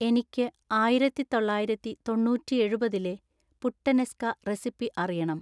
എനിക്ക് ആയിരത്തി തൊള്ളായിരത്തി തൊണ്ണൂറ്റി എഴുപതിലെ പുട്ടനെസ്ക റെസിപ്പി അറിയണം